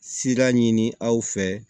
Sira ɲini aw fɛ